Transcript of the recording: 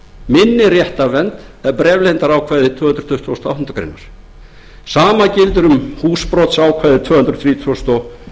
minni réttarvernd en bréfleyndarákvæði tvö hundruð tuttugustu og áttundu greinar sama gildir um húsbrotsákvæði tvö hundruð þrítugustu og